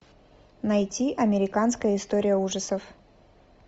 найти американская история ужасов